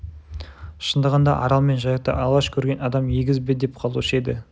шындығында арал мен жайықты алғаш көрген адам егіз бе деп қалушы еді